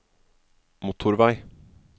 motorvei